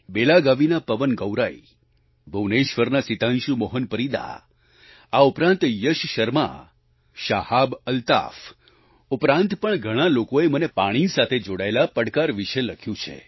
બેલાગાવીના પવન ગૌરાઈ ભૂવનેશ્વરના સિતાંશુ મોહન પરીદા આ ઉપરાંત યશ શર્મા શાહાબ અલ્તાફ ઉપરાંત પણ ઘણા લોકોએ મને પાણી સાથે જોડાયેલા પડકાર વિશે લખ્યું છે